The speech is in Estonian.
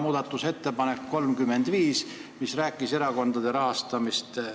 Muudatusettepanek 35 pakub erakondade rahastamise